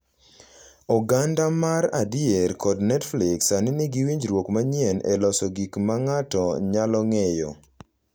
Oganda mar adier kod Netflix sani nigi winjruok manyien e loso gik ma ng’ato nyalo ng’eyo